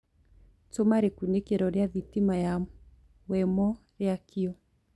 tuma rikunikiro ria thitima ya wemo riakio